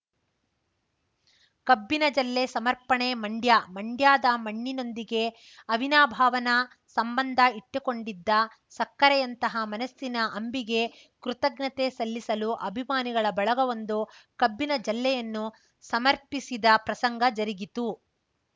ಕಬ್ಬಿನ ಜಲ್ಲೆ ಸಮರ್ಪಣೆ ಮಂಡ್ಯ ಮಂಡ್ಯದ ಮಣ್ಣಿನೊಂದಿಗೆ ಅವಿನಾಭಾವನ ಸಂಬಂಧ ಇಟ್ಟುಕೊಂಡಿದ್ದ ಸಕ್ಕರೆಯಂತಹ ಮನಸ್ಸಿನ ಅಂಬಿಗೆ ಕೃತಜ್ಞತೆ ಸಲ್ಲಿಸಲು ಅಭಿಮಾನಿಗಳ ಬಳಗವೊಂದು ಕಬ್ಬಿನ ಜಲ್ಲೆಯನ್ನು ಸಮರ್ಪಿಸಿದ ಪ್ರಸಂಗ ಜರಗಿತು